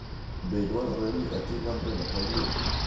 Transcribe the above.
Be dwarore ni ating’ ambrela kawuono?